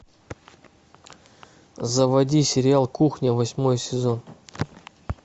заводи сериал кухня восьмой сезон